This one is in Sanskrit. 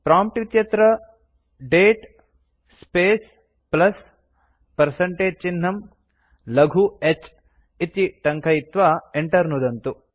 प्रॉम्प्ट् इत्यत्र दते स्पेस् प्लस् पर्सेन्टेज चिह्नं लघु h इति टङ्कयित्वा enter नुदन्तु